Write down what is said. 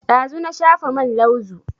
Ɗazu na shafa man lauzu